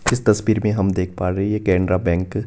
इस तस्वीर में हम देख पा रहे है ये केनरा बैंक --